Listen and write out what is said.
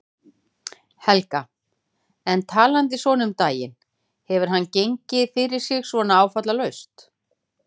Helga: En talandi svona um daginn, hefur hann gengið fyrir sig svona áfallalaust?